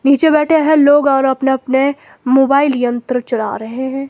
नीचे बैठे हैं लोग और अपने अपने मोबाइल यंत्र चला रहे हैं।